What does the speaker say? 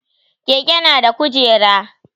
Keke na da kujera